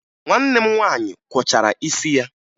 Nwanne m nwaanyị kwọchara isi ya